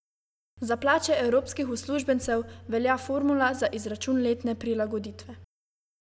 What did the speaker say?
Za plače evropskih uslužbencev velja formula za izračun letne prilagoditve.